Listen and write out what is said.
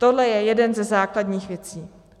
Tohle je jedna ze základních věcí.